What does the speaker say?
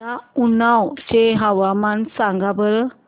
मला उन्नाव चे हवामान सांगा बरं